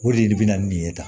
O de bɛ na nin ye tan